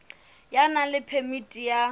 ya nang le phemiti ya